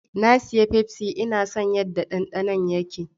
Na sayi fefsi, Ina son yadda dandano yake